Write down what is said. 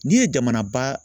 N'i ye jamana ba